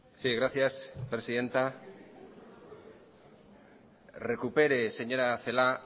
sí gracias presidenta recupere señora celaá